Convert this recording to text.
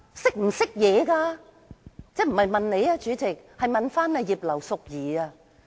主席，我不是問你，我是在問葉劉淑儀議員......